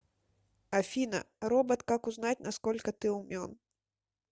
афина робот как узнать на сколько ты умен